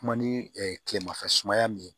Kuma ni tilemafɛ sumaya min ye